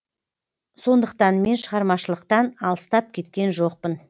сондықтан мен шығармашылықтан алыстап кеткен жоқпын